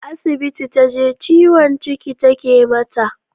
Asibiti taje, ciwon ciki take mata.